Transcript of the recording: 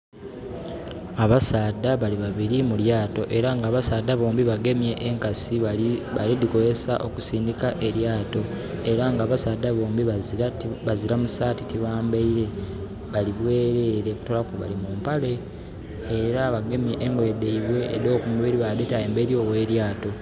Abasaadha bali babili mu lyaato. Era nga abasaadha bombi bagemye enkasi bali dhikozesa okusindika elyaato. Ela nga abasaadha bombi bazira mu saati, tibambaile. Bali bwerere, okutoolaku bali mu mpale. Ela bagemye engoye dhaibwe edh'okumubili badhita emberi ogh'elyaato.